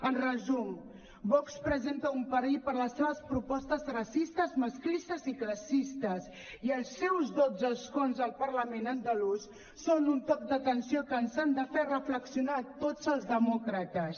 en resum vox representa un perill per les seves propostes racistes masclistes i classistes i els seus dotze escons al parlament andalús són un toc d’atenció que ens ha de fer reflexionar a tots els demòcrates